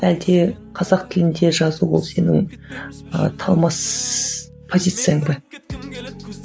әлде қазақ тілінде жазу ол сенің ы талмас позицияң ба